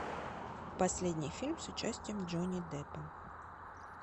последний фильм с участием джонни деппа